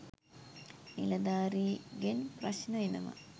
නිළධාරිගෙන් ප්‍රශ්ණ එනවා